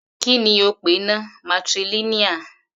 Kí ni ó pè náà, matrilineal?